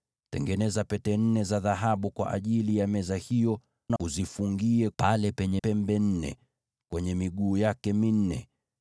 Tengeneza pete nne za dhahabu kwa ajili ya meza hiyo, na uzifungie kwenye pembe nne, pale penye miguu yake minne.